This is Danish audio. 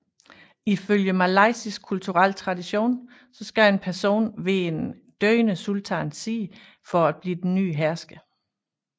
Ifølge malaysisk kulturel tradition skal en person være ved en døende sultans side for at blive den nye hersker